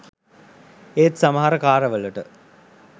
ඒත් සමහර කාල වලට